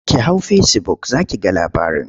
Ki hau fesibuk za ki ga labarin.